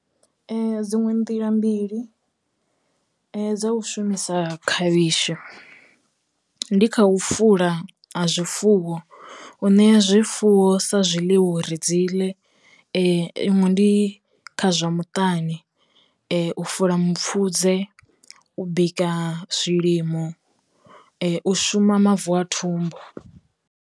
Ee dziṅwe nḓila mbili dzo u shumisa khavhishi, ndi kha u fula ha zwifuwo u ṋea zwifuwo sa zwiḽiwa u ri dziḽe, iṅwe ndi kha zwa muṱani u fula mupfhudze u bika zwilimo u shuma mavu a thumbu.